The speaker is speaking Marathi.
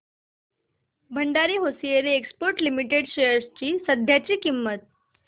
Bhandari hosiery exports limited shares ची सध्याची किंमत